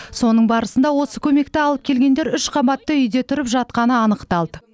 соның барысында осы көмекті алып келгендер үш қабатты үйде тұрып жатқаны анықталды